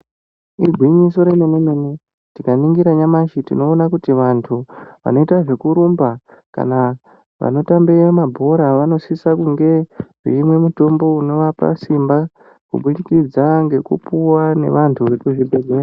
Igwinyiso remene mene tinaningisa nyamashi tinoona kuti vantu vanoita zvekurumba kana kuti vanotamba mabhora vanosisa kunge veimwa mutombo unovapa simba kubudikidza nevantu vekuzvibhehleya.